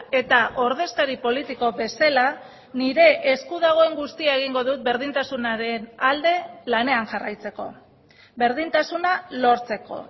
eta ordezkari politiko bezala nire esku dagoen guztia egingo dut berdintasunaren alde lanean jarraitzeko berdintasuna lortzeko